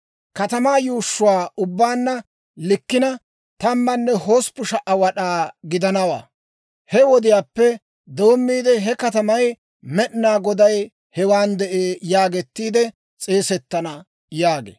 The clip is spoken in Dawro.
«Katamaa yuushshuu ubbaanna likkina, 18,000 wad'aa gidanawaa. He wodiyaappe doommiide he katamay, ‹Med'inaa Goday Hewan De'ee› yaageettiide s'eesettana» yaagee.